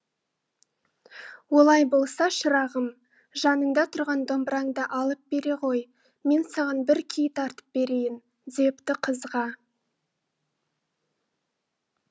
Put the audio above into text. олай болса шырағым жаныңда тұрған домбыраңды алып бере ғой мен саған бір күй тартып берейін депті қызға